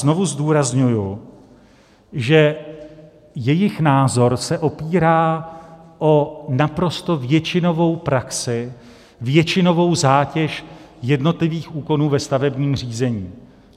Znovu zdůrazňuji, že jejich názor se opírá o naprosto většinovou praxi, většinovou zátěž jednotlivých úkonů ve stavebním řízení.